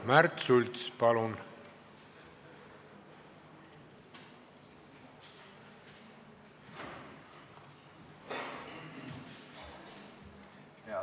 Märt Sults, palun!